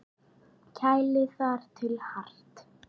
Kælið þar til hart.